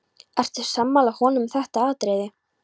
Ertu sammála honum um þetta atriði?